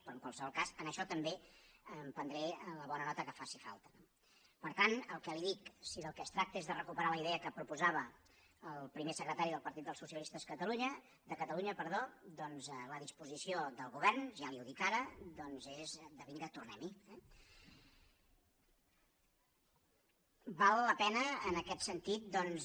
però en qualsevol cas en això també prendré la bona nota que faci falta no per tant el que li dic si del que es tracta és de recuperar la idea que proposava el primer secretari del partit dels socialistes de catalunya doncs la disposició del govern ja li ho dic ara es de vinga tornem hi eh val la pena en aquest sentit doncs